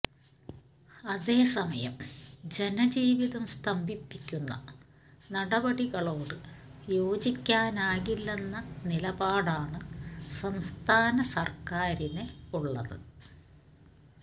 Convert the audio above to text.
അതേ സമയം ജന ജീവിതം സ്തംഭിപ്പിക്കുന്ന നടപടികളോട് യോജിക്കാനാകില്ലെന്ന നിലപാടാണ് സംസ്ഥാന സര്ക്കാരിന് ഉള്ളത്